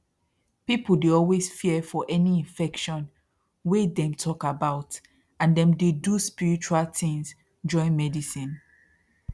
people dey always fear for any infection wey dem talk about and dem dey do spiritual thins join medicine